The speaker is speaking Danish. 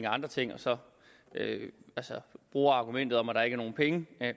andre ting og så bruge argumentet om at der ikke er nogen penge